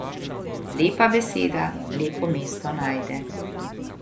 Lepa beseda lepo mesto najde ...